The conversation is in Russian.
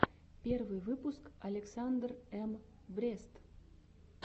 первый выпуск александр эм брест